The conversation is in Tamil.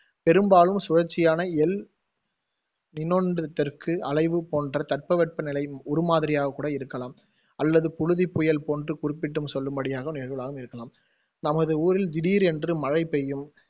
பெரும்பாலும் சுழற்சியான, தெற்கு அலைவு போன்ற தட்பவெப்ப நிலையின் உருமாதிரியாக இருக்கலாம் அல்லது புழுதிப் புயல் போன்று குறிப்பிட்டும் சொல்லும்படியாக இருக்கலாம்